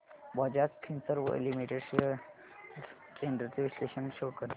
Bajaj Finserv limited shares trends चे विश्लेषण show कर